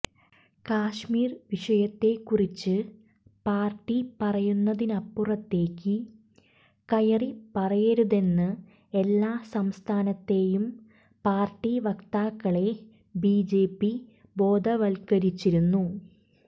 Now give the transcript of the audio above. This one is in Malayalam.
കശ്മീർ വിഷയത്തെക്കുറിച്ച് പാർട്ടി പറയുന്നതിനപ്പുറത്തേക്ക് കയറി പറയരുതെന്ന് എല്ലാ സംസ്ഥാനത്തെയും പാർട്ടി വക്താക്കളെ ബിജെപി ബോധവൽക്കരിച്ചിരുന്നു